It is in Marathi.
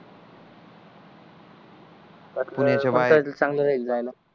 कोंकड चांगल राहील जायला